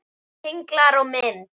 Tenglar og mynd